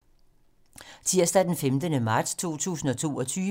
Tirsdag d. 15. marts 2022